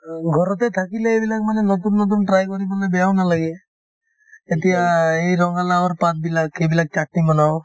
ঘৰতে থাকিলে এইবিলাক মানে নতুন নতুন try কৰিবলৈ বেয়াও নালাগে এতিয়া এই ৰঙালাউৰ পাতবিলাক সেইবিলাক chutney বনাও